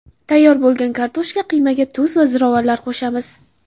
Tayyor bo‘lgan kartoshka qiymaga tuz va ziravorlar qo‘shamiz.